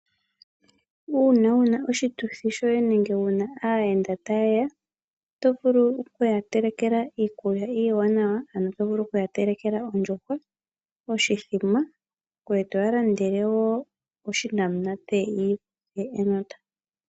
Uuna wuna oshituthi shoye nenge wuna aayenda ta yeya, oto vulu okuya telekela iikulya iiwanawa ano tovulu okuya telekela ondjuhwa, oshithima, ngoye toya landele wo onamunate yi ikuthe enota.